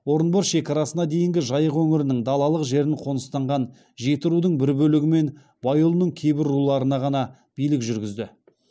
орынбор шекарасына дейінгі жайық өңірінің далалық жерін қоныстанған жетірудың бір бөлігі мен байұлының кейбір руларына ғана билік жүргізді